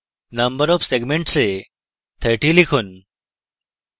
number of segments এ 30 লিখুন